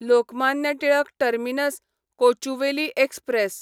Lokmanya Tilak terminus Kochuveli express